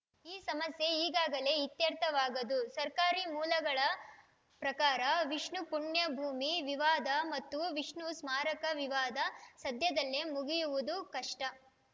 ಈ ಸಮಸ್ಯೆ ಈಗಲೇ ಇತ್ಯರ್ಥವಾಗದು ಸರ್ಕಾರಿ ಮೂಲಗಳ ಪ್ರಕಾರ ವಿಷ್ಣು ಪುಣ್ಯಭೂಮಿ ವಿವಾದ ಮತ್ತು ವಿಷ್ಣು ಸ್ಮಾರಕ ವಿವಾದ ಸದ್ಯದಲ್ಲೇ ಮುಗಿಯುವುದು ಕಷ್ಟ